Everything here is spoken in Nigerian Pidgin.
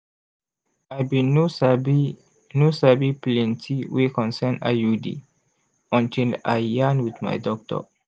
i bin no sabi no sabi plenti wey concern iud until i yarn wit my doctor